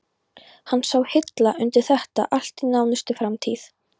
Hann sá hilla undir þetta allt í nánustu framtíð.